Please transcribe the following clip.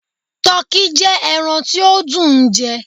Tọki jẹ ẹran ti o dùn ún jẹ